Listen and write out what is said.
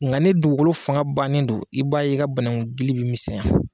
Nga ni dugugolo fanga bannen do i b'a ye i ka banagun dili bɛ misɛnya.